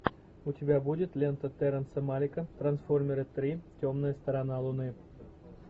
у тебя будет лента терренса малика трансформеры три темная сторона луны